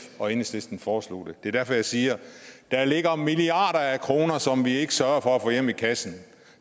og enhedslisten foreslog det det er derfor jeg siger der ligger milliarder af kroner som vi ikke sørger for at få hjem i kassen